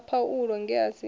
sa paulo nge a si